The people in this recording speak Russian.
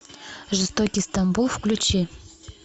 жестокий стамбул включи